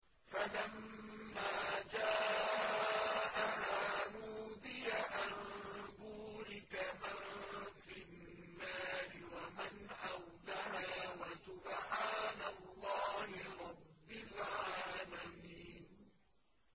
فَلَمَّا جَاءَهَا نُودِيَ أَن بُورِكَ مَن فِي النَّارِ وَمَنْ حَوْلَهَا وَسُبْحَانَ اللَّهِ رَبِّ الْعَالَمِينَ